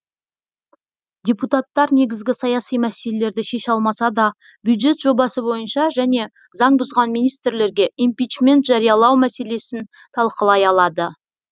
депутаттар негізгі саяси мәселелерді шеше алмаса да бюджет жобасы бойынша және заң бұзған министрлерге импичмент жариялау мәселесін талқылай алады